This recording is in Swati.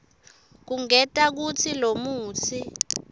kungenta kutsi lomutsi